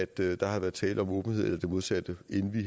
der der har været tale om åbenhed eller det modsatte inden vi